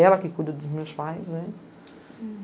Ela que cuida dos meus pais, né?